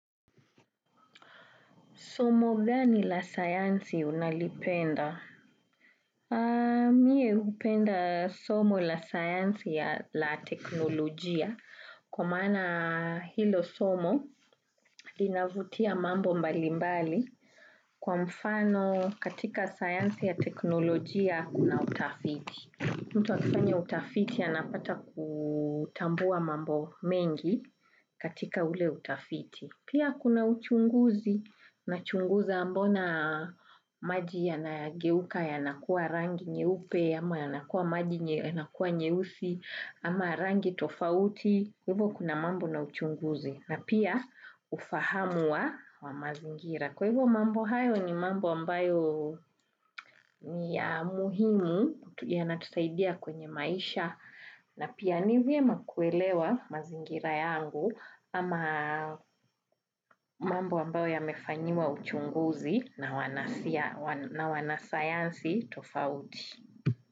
Somo gani la sayansi unalipenda? Mie hupenda somo la sayansi ya la teknolojia. Kwa maana hilo somo linavutia mambo mbalimbali kwa mfano katika sayansi ya teknolojia kuna utafiti. Mtu akifanya utafiti anapata kutambua mambo mengi katika ule utafiti. Pia kuna uchunguzi nachunguza mbona maji yanageuka yanakuwa rangi nyeupe, ama yanakuwa maji yanakuwa nyeusi, ama rangi tofauti. Kwa hivyo kuna mambo na uchunguzi. Na pia ufahamu wa mazingira. Kwa hivyo mambo hayo ni mambo ambayo ni muhimu yanatusaidia kwenye maisha. Na pia ni vyema kuelewa mazingira yangu ama mambo ambayo yamefanyiwa uchunguzi na wanasayansi tofauti.